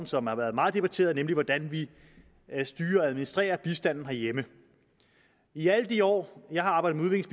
som har været meget debatteret nemlig hvordan vi styrer og administrerer bistanden herhjemme i alle de år jeg har arbejdet med